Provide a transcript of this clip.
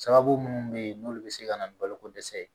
Sababu munnu be yen n'olu be se ka na ni baloko dɛsɛ ye